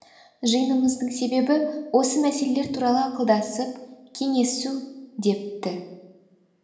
жиынымыздың себебі осы мәселелер туралы ақылдасып кеңесу депті